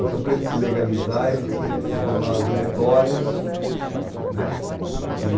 Então, para ele se legalizar, ele tinha que formar os diretórios né. E